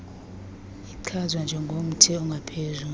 ichazwa njengomthi ongaphezu